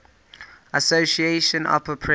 association apa press